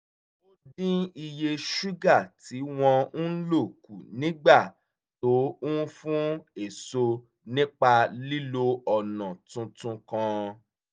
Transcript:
ó dín iye ṣúgà tí wọ́n ń lò kù nígbà tó ń fùn èso nípa lílo ọ̀nà tuntun kan